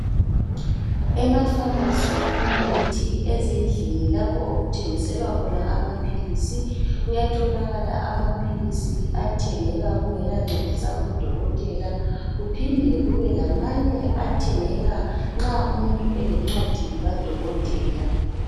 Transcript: Emafamasi kumbe ngithi ezindlini lapho okuthengiselwa khona amaphilisi. Kuyatholakala amaphilisi athengeka kungelancwadi zabodokotela, kuphinde kube lamanye athengeka nxa umuntu elencwadi kadokotela.